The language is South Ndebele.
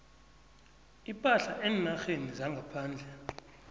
ipahla eenarheni zangaphandle